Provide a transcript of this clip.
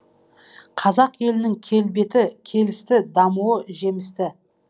қазақ елінің келбеті келісті дамуы жемісті